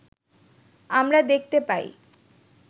আমরা দেখতে পাই